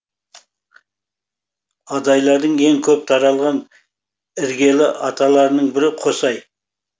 адайлардың ең көп таралған іргелі аталарының бірі қосай